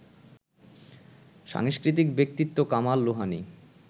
সাংস্কৃতিক ব্যক্তিত্ব কামাল লোহানী